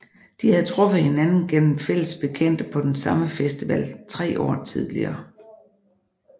De havde truffet hinanden gennem fælles bekendte på den samme festival tre år tidligere